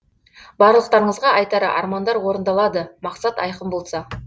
барлықтарыңызға айтары армандар орындалады мақсат айқын болса